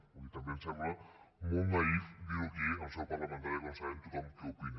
vull dir també em sembla molt naïf dir ho aquí en seu parlamentària quan sabem tothom què n’opina